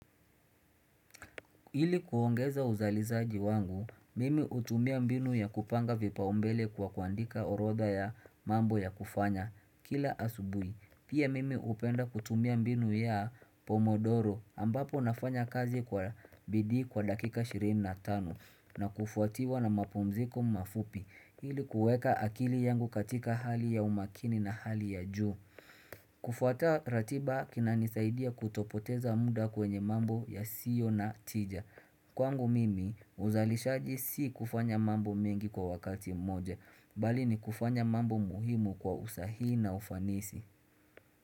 Ili kuongeza uzalizaji wangu, mimi hutumia mbinu ya kupanga vipaumbele kwa kuandika orodha ya mambo ya kufanya kila asubuhi. Pia mimi hupenda kutumia mbinu ya pomodoro ambapo nafanya kazi kwa bidii kwa dakika ishirini na tano na kufuatiwa na mapumziko mafupi ili kuweka akili yangu katika hali ya umaakini na hali ya juu. Kufuata ratiba kinanisaidia kutopoteza muda kwenye mambo ya sio na tija Kwangu mimi uzalishaji si kufanya mambo mengi kwa wakati mmoja Bali ni kufanya mambo muhimu kwa usahihi na ufanisi.